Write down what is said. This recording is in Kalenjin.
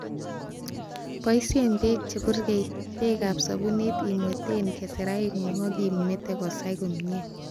Boishen beek che purgei, beek ab sobunit ibweten keseraingung ak imete kosai komie.